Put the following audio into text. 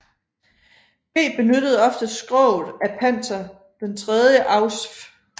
G benyttede ofte skroget af Panzer III Ausf